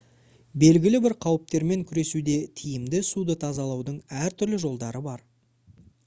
белгілі бір қауіптермен күресуде тиімді суды тазалаудың әртүрлі жолдары бар